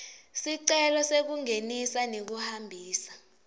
sicelo sekungenisa nekuhambisa